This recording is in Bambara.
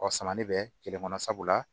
Ɔ samali bɛ kelen kɔnɔ sabula